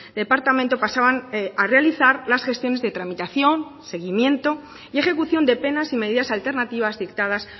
departamento pasaban a realizar las gestiones de tramitación seguimiento y ejecución de penas y medidas alternativas dictadas